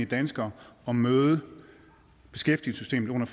danskere at møde beskæftigelsessystemet under